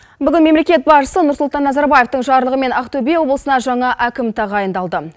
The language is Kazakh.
бүгін мемлекет басшысы нұрсұлтан назарбаевтың жарлығымен ақтөбе облысына жаңа әкім тағайындалды